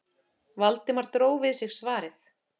Valdimar dró við sig svarið.